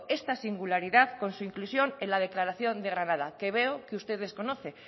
esta singularidad con su inclusión en la declaración de granada que veo que usted desconoce